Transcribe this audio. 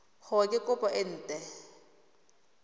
gore ke kopo e nt